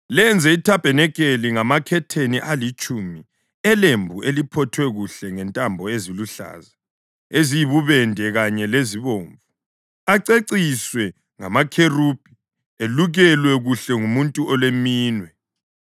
“Lenze ithabanikeli ngamakhetheni alitshumi elembu eliphothwe kuhle ngentambo eziluhlaza, eziyibubende kanye lezibomvu, aceciswe ngamakherubhi elukelwe kuhle ngumuntu oleminwe.